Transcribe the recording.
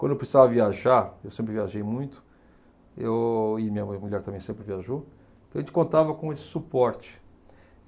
Quando eu precisava viajar, eu sempre viajei muito, eu e minha mu mulher também sempre viajou, então a gente contava com esse suporte.